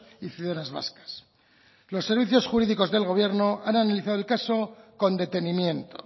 y ciudadanas vascas los servicios jurídicos del gobierno han analizado el caso con detenimiento